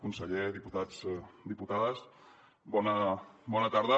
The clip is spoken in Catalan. conseller diputats diputades bona tarda